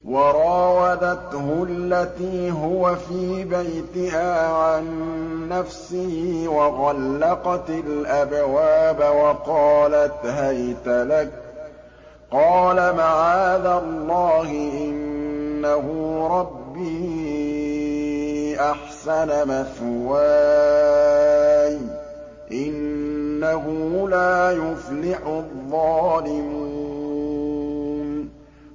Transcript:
وَرَاوَدَتْهُ الَّتِي هُوَ فِي بَيْتِهَا عَن نَّفْسِهِ وَغَلَّقَتِ الْأَبْوَابَ وَقَالَتْ هَيْتَ لَكَ ۚ قَالَ مَعَاذَ اللَّهِ ۖ إِنَّهُ رَبِّي أَحْسَنَ مَثْوَايَ ۖ إِنَّهُ لَا يُفْلِحُ الظَّالِمُونَ